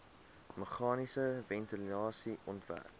meganiese ventilasie ontwerp